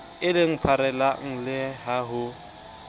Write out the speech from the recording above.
eleng pharela le ha ho